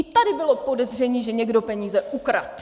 I tady bylo podezření, že někdo peníze ukradl.